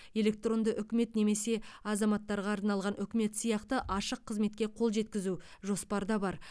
электронды үкімет немесе азаматтарға арналған үкімет сияқты ашық қызметке қол жеткізу жоспарда бар